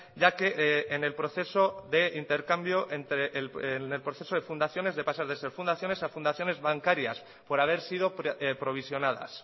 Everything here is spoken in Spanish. ya que en el proceso de intercambio entre el proceso de fundaciones de pasar de ser fundaciones a fundaciones bancarias por haber sido provisionadas